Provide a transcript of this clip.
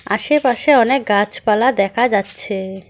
আশেপাশে অনেক গাছপালা দেখা যাচ্ছে।